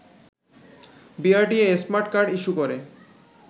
BRTA smart card issue করে